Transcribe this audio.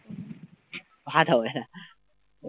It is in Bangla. ভাত হবে না